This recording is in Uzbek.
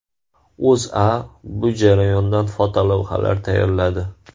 O‘zA bu jarayondan fotolavhalar tayyorladi .